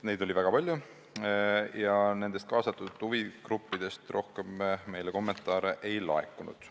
Neid oli väga palju, aga nendelt huvigruppidelt meile rohkem kommentaare ei laekunud.